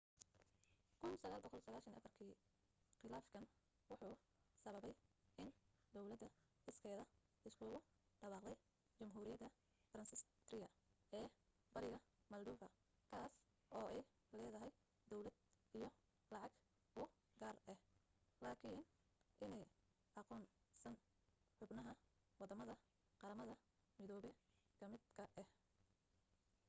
1994 kii qilaafkan wuxuu sababay in dawlada iskeeda iskugu dhawaaqday jamhuuriyada transnistria ee bariga moldova kaas oo ay leedahay dawlad iyo lacag u gaar ah laakiin aanay aqoonsan xubnahaa wadamada qaramada midobe ka mid ka ah